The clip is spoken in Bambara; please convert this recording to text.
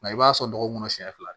i b'a sɔn dɔgɔ kɔnɔ siɲɛ fila